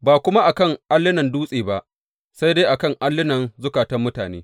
Ba kuma a kan allunan dutse ba, sai dai a kan allunan zukatan mutane.